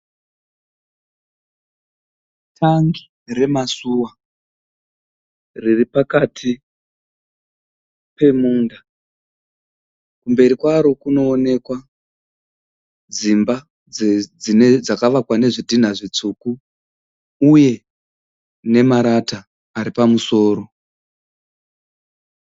Tank remasuwa riri pakati pemunda, kumberi kwaro kunoonekwa dzimba dzakavakwa nezvidhinha zvitsvuku uye nemarata ari pamusoro.